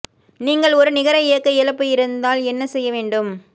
நீங்கள் ஒரு நிகர இயக்க இழப்பு இருந்தால் என்ன செய்ய வேண்டும்